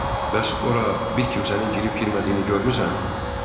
Bəs ora bir kimsənin girib-girmədiyini görmüsən?